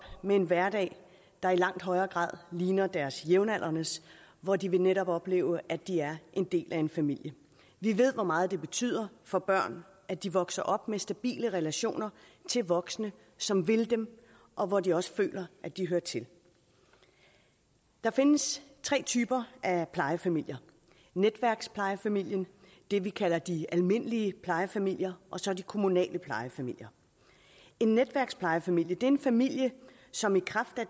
med en hverdag der i langt højere grad ligner deres jævnaldrendes hvor de netop vil opleve at de er en del af en familie vi ved hvor meget det betyder for børn at de vokser op med stabile relationer til voksne som vil dem og hvor de også føler at de hører til der findes tre typer af plejefamilier netværksplejefamilien det vi kalder de almindelige plejefamilier og så de kommunale plejefamilier en netværksplejefamilie er en familie som i kraft af